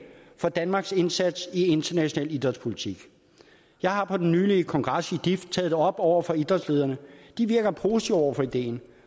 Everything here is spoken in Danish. for danmarks indsats i international idrætspolitik jeg har på den nylige kongres i dif taget det op over for idrætslederne de virker positive over for ideen